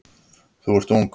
Þú ert ung.